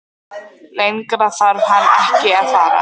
Lengra þarf hann ekki að fara.